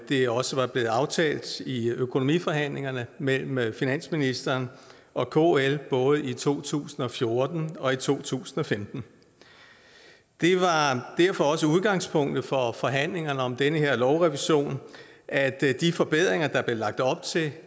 det også var blevet aftalt i økonomiforhandlingerne mellem mellem finansministeren og kl både i to tusind og fjorten og i to tusind og femten det var derfor også udgangspunktet for forhandlingerne om den her lovrevision at de forbedringer der blev lagt op til